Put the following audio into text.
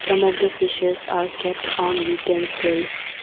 Some of the fishes are kept on utensils.